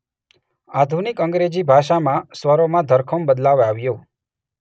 આધુનિક અંગ્રેજી ભાષામાં સ્વરોમાં ધરખમ બદલાવ આવ્યો.